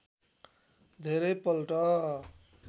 धेरै पल्ट